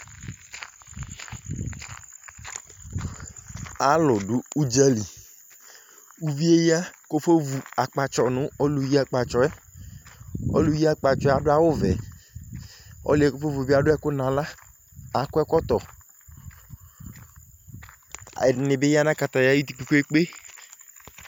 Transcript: Alu ɗu uɗza li Uvie ya kafɔ vu akpatsɔ nu ɔlu yi akpatsɔɛ Ɔluyi akpatsɔɛ aɗu awu vɛ Ɔluɛ afɔ vu bi aɗuɛ ku naɣla, akɔ ɛkɔtɔ Ɛɗini bi aya nu kataya ayidu kpekpe